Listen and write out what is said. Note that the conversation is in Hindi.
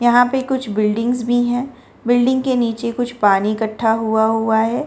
यहां पे कुछ बिल्डिंग्स भी हैं बिल्डिंग के नीचे कुछ पानी इकट्ठा हुआ हुआ है।